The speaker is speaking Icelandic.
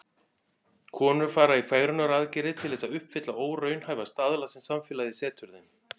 Konur fara í fegrunaraðgerðir til þess að uppfylla óraunhæfa staðla sem samfélagið setur þeim.